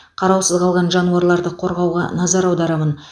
қараусыз қалған жануарларды қорғауға назар аударамын